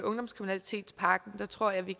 ungdomskriminalitetspakken og der tror jeg vi